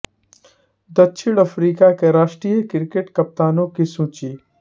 दक्षिण अफ्रीका के राष्ट्रीय क्रिकेट कप्तानों की सूची